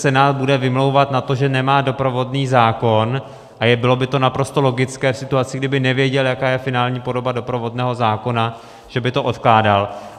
Senát bude vymlouvat na to, že nemá doprovodný zákon, a bylo by to naprosto logické v situaci, kdyby nevěděl, jaká je finální podoba doprovodného zákona, že by to odkládal.